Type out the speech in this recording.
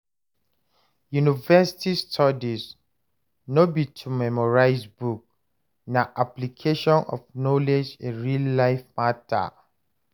University studies no be to memorize book, na application of knowledge in real life matter.